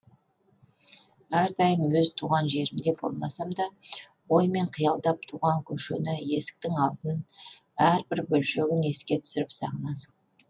әрдайым өз туған жерімде болмасамда оймен қиялдап туған көшені есіктің алдын әрбір бөлшегін еске түсіріп сағынасың